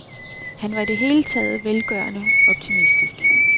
Han var i det hele taget velgørende optimistisk.